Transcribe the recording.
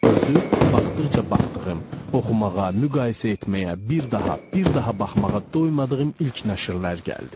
özü baxdıqca baxdığım, oxumağa, müqayisə etməyə, bir daha, bir daha baxmağa doymadığım ilk nəşrlər gəldi.